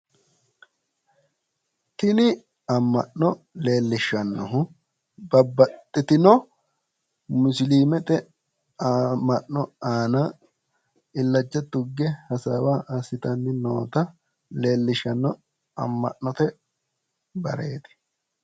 tini amma'no leellishshannohu babbaxxitino musiliimete amma'no aana illacha tugge hasaawa assitanni noota leellishanno amma'note bareeti